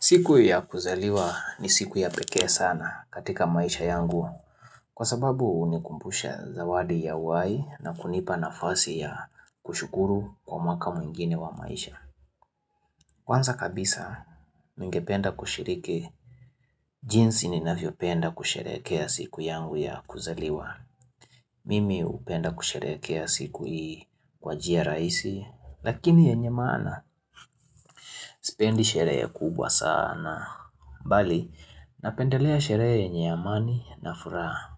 Siku ya kuzaliwa ni siku ya pekee sana katika maisha yangu kwa sababu hunikumbusha zawadi ya uhai na kunipa nafasi ya kushukuru kwa mwaka mwingine wa maisha. Kwanza kabisa ningependa kushiriki jinsi ninavyopenda kusherehekea siku yangu ya kuzaliwa. Mimi hupenda kusherekea siku hii kwa njia rahisi lakini yenye maana sipendi sherehe kubwa sana. Mbali, napendelea sherehe yenye amani na furaha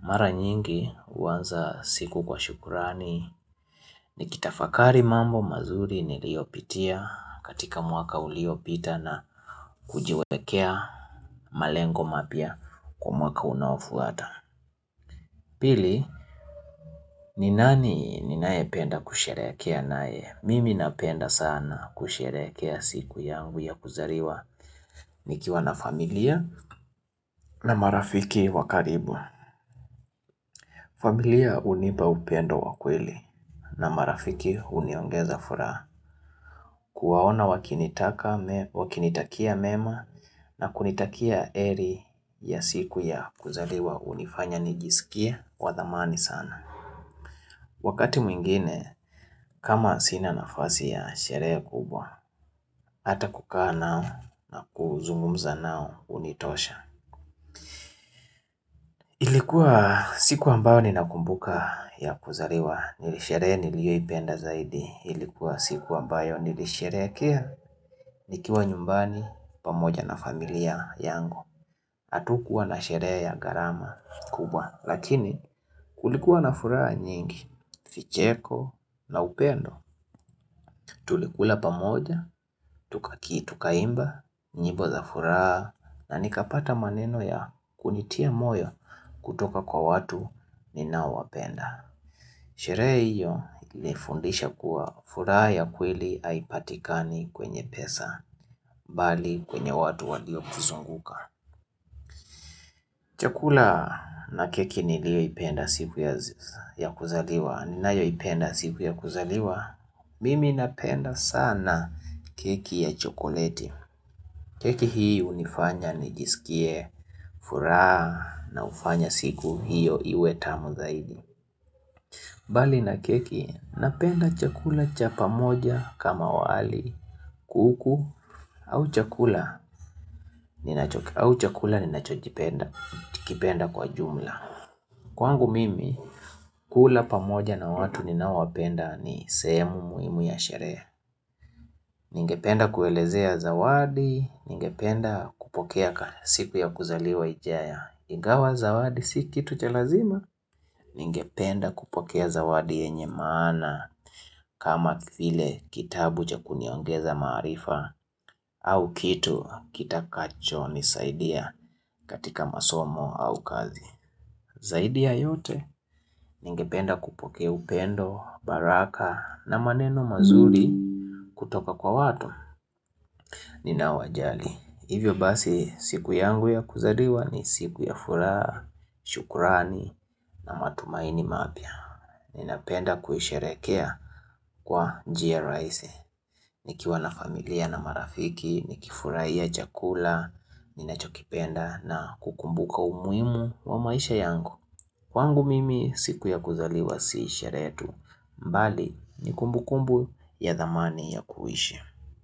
mara nyingi huanza siku kwa shukurani Nikitafakari mambo mazuri niliopitia katika mwaka uliopita na kujiwekea malengo mapya kwa mwaka unaofuata Pili, ni nani ninaependa kusherehekea nae? Mimi napenda sana kusherehekea siku yangu ya kuzaliwa nikiwa na familia na marafiki wakaribu familia hunipa upendo wa kweli na marafiki huniongeza furaha kuwaona wakinitakia mema na kunitakia heri ya siku ya kuzaliwa hunifanya nijisikie wa dhamani sana. Wakati mwingine kama sina nafasi ya sherehe kubwa, hata kukaa nao na kuzungumza nao hunitosha. Ilikuwa siku ambayo ninakumbuka ya kuzaliwa ni sherehe niliyoipenda zaidi. Ilikuwa siku ambayo nilisherehekea nikiwa nyumbani pamoja na familia yangu. Hatukua na sherehe ya garama kubwa. Lakini kulikuwa na furaha nyingi, vicheko na upendo Tulikula pamoja, tukaki tukaimba, nyimbo za furaha na nikapata maneno ya kunitia moyo kutoka kwa watu ninao wapenda Sherehe hiyo ilifundisha kuwa furaha ya kweli haipatikani kwenye pesa mbali kwenye watu waliotuzunguka Chakula na keki nilioipenda siku ya kuzaliwa ninayoipenda siku ya kuzaliwa Mimi napenda sana keki ya chokoleti keki hii hunifanya nijisikie furaha na hufanya siku hiyo iwe tamu zaidi mbali na keki napenda chakula cha pamoja kama wali kuku au chakula ninachochipenda kwa jumla Kwangu mimi kula pamoja na watu ninaowapenda ni sehemu muhimu ya sherehe Ningependa kuelezea zawadi, ningependa kupokea siku ya kuzaliwa nje ya Ingawa zawadi si kitu cha lazima Ningependa kupokea zawadi yenye maana kama vile kitabu cha kuniongeza maarifa au kitu, kitakacho nisaidia katika masomo au kazi Zaidi ya yote, ningependa kupokea upendo, baraka na maneno mazuri kutoka kwa watu Ninaowajali, hivyo basi siku yangu ya kuzaliwa ni siku ya furaha shukrani na matumaini mapya Ninapenda kuisherehekea kwa njia rahisi nikiwa na familia na marafiki, nikifurahia chakula, ninachokipenda na kukumbuka umuhimu wa maisha yangu Kwangu mimi siku ya kuzaliwa si sherehe tu, mbali nikumbu kumbu ya dhamani ya kuishi.